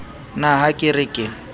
na ha ke re ke